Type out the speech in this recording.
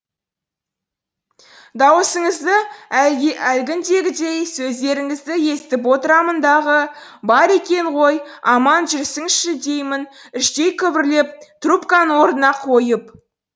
дауысыңызды әлгіндегідей сөздеріңізді естіп отырамын дағы бар екен ғой аман жүрсінші деймін іштей күбірлеп трубканы орнына қойып